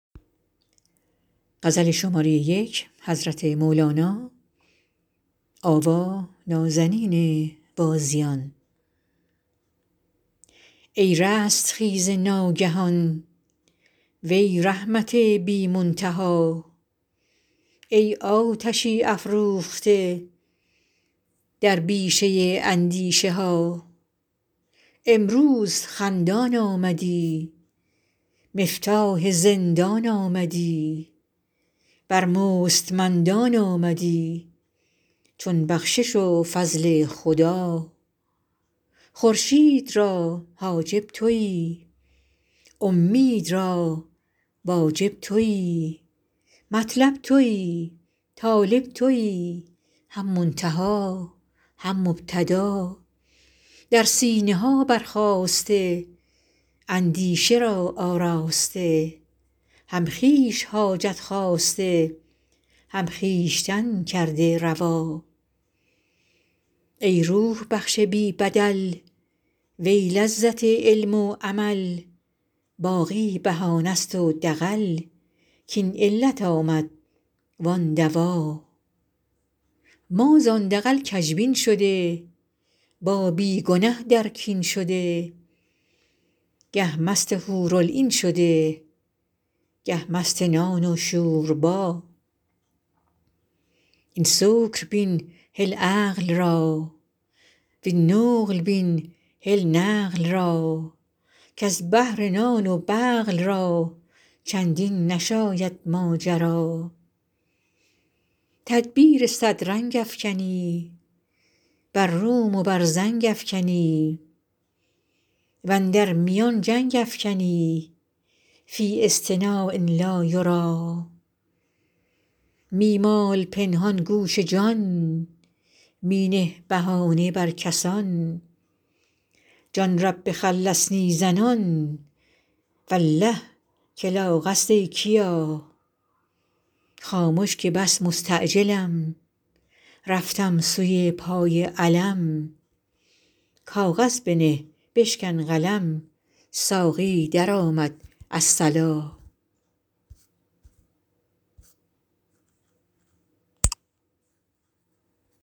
ای رستخیز ناگهان وی رحمت بی منتها ای آتشی افروخته در بیشه اندیشه ها امروز خندان آمدی مفتاح زندان آمدی بر مستمندان آمدی چون بخشش و فضل خدا خورشید را حاجب تویی اومید را واجب تویی مطلب تویی طالب تویی هم منتها هم مبتدا در سینه ها برخاسته اندیشه را آراسته هم خویش حاجت خواسته هم خویشتن کرده روا ای روح بخش بی بدل وی لذت علم و عمل باقی بهانه ست و دغل کاین علت آمد وان دوا ما زان دغل کژبین شده با بی گنه در کین شده گه مست حورالعین شده گه مست نان و شوربا این سکر بین هل عقل را وین نقل بین هل نقل را کز بهر نان و بقل را چندین نشاید ماجرا تدبیر صد رنگ افکنی بر روم و بر زنگ افکنی و اندر میان جنگ افکنی فی اصطناع لا یری می مال پنهان گوش جان می نه بهانه بر کسان جان رب خلصنی زنان والله که لاغ است ای کیا خامش که بس مستعجلم رفتم سوی پای علم کاغذ بنه بشکن قلم ساقی درآمد الصلا